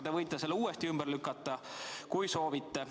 Te võite selle uuesti ümber lükata, kui soovite.